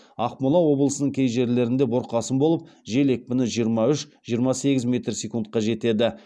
ақмола облысының кей жерлерінде бұрқасын болып жел екпіні жиырма үш жиырма сегіз метр секундқа жетеді